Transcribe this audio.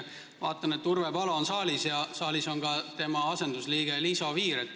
Vaatan, et Urve Palo on saalis ja saalis on ka tema asendusliige Liisa Oviir.